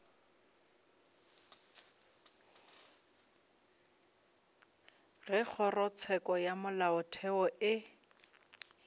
ge kgorotsheko ya molaotheo e